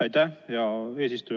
Aitäh, hea eesistuja!